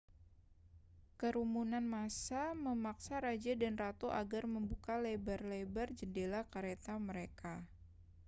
kerumunan massa memaksa raja dan ratu agar membuka lebar-lebat jendela kereta mereka